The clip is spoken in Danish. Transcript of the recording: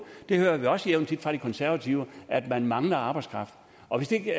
det hører vi også jævnt tit fra de konservative at man mangler arbejdskraft og hvis ikke